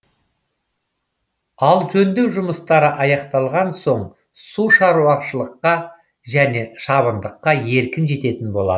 ал жөндеу жұмыстары аяқталған соң су шаруашылыққа және шабындыққа еркін жететін болады